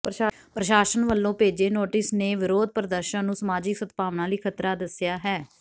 ਪ੍ਰਸ਼ਾਸਨ ਵੱਲੋਂ ਭੇਜੇ ਨੋਟਿਸ ਨੇ ਵਿਰੋਧ ਪ੍ਰਦਰਸ਼ਨ ਨੂੰ ਸਮਾਜਿਕ ਸਦਭਾਵਨਾ ਲਈ ਖਤਰਾ ਦੱਸਿਆ ਹੈ